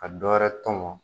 A dɔ wɛrɛ tɔmɔ